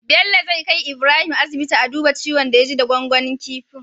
Bello zai kai Ibrahim asibiti a duba ciwon da ya ji da gwangwanin kifin